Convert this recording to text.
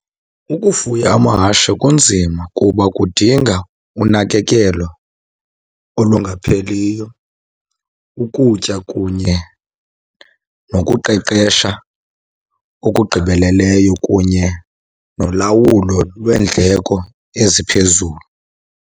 Ukufuya amahashe kunzima kuba kudinga unakekelo olungapheliyo, ukutya, kunye nokuqeqesha okugqibeleleyo, kunye nolawulo lweendleko eziphezulu.